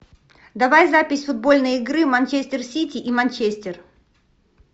давай запись футбольной игры манчестер сити и манчестер